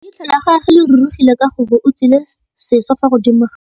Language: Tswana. Leitlhô la gagwe le rurugile ka gore o tswile sisô fa godimo ga leitlhwana.